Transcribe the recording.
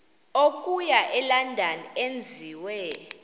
okuya elondon enziwe